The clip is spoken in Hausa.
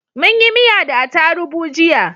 Munyi miya da atarubu jiya